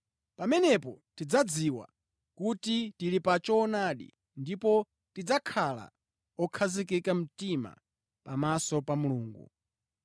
Pamenepo tidzadziwa kuti tili pa choonadi ndipo tidzakhala okhazikika mtima pamaso pa Mulungu,